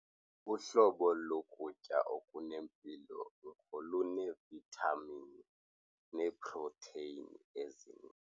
Uhlobo lokutya okunempilo ngoluneevithamini neeprotheyini ezininzi.